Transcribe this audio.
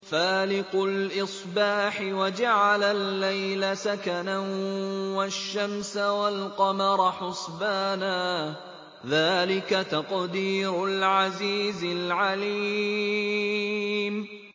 فَالِقُ الْإِصْبَاحِ وَجَعَلَ اللَّيْلَ سَكَنًا وَالشَّمْسَ وَالْقَمَرَ حُسْبَانًا ۚ ذَٰلِكَ تَقْدِيرُ الْعَزِيزِ الْعَلِيمِ